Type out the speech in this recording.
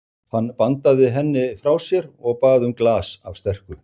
Hann bandaði henni frá sér og bað um glas af sterku.